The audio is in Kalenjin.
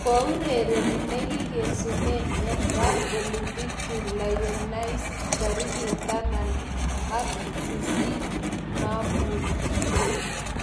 Kiurereni negigesunen en parc Olympique Lyonnais tarigit tamana ka sisit maamuut